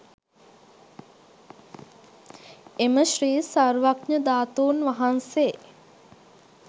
එම ශ්‍රී සර්වඥ ධාතුන් වහන්සේ